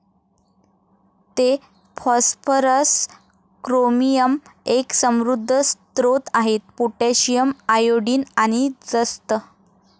ते phosphorus, chromium, एक समृद्ध स्रोत आहेत पोटॅशियम, आयोडीन, आणि जस्त.